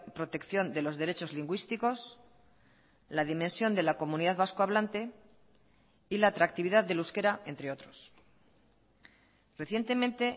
protección de los derechos lingüísticos la dimensión de la comunidad vascohablante y la atractividad del euskera entre otros recientemente